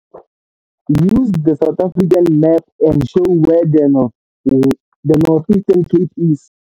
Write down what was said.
Use the South African map and show where the Northern Eastern Cape is.